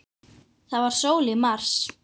Það var sól í mars.